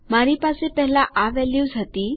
મારી પાસે પહેલા આ વેલ્યુઝ હતી